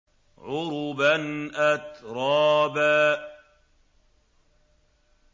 عُرُبًا أَتْرَابًا